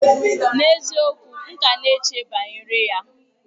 N'eziokwu! M ka na-eche banyere ya.